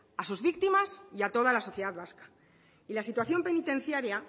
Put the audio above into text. a sus víctimas y a toda la sociedad vasca y la situación penitenciaria